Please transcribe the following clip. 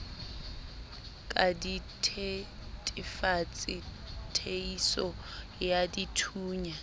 ka dithetefatsi theiso ya dithunya